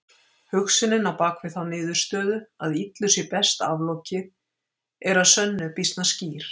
Hugsunin á bakvið þá niðurstöðu að illu sé best aflokið er að sönnu býsna skýr.